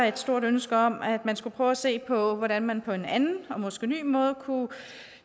et stort ønske om at man skulle prøve at se på hvordan man på en anden og måske ny måde kunne